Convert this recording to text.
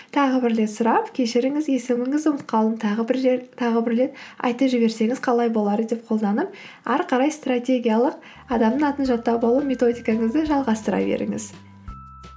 тағы бір рет сұрап кешіріңіз есіміңізді ұмытып қалдым тағы бір рет айтып жіберсеңіз қалай болар деп қолданып ары қарай стратегиялық адамның атын жаттап алу методикаңызды жалғастыра беріңіз